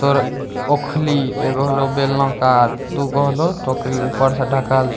तोरो ओखली एगो होलो बेलना कार दू गो होलो टोकरी ऊपर से ढ़काल --